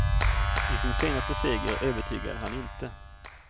I sin senaste seger övertygade han inte.